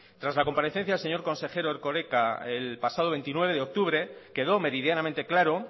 tras la comparecencia del señor consejero erkoreka el pasado veintinueve de octubre quedó meridianamente claro